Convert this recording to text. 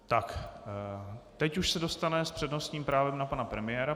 Tak teď už se dostane s přednostním právem na pana premiéra.